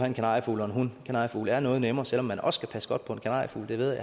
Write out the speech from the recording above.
en kanariefugl og en hund kanariefugle er noget nemmere selv om man også skal passe godt på en kanariefugl det ved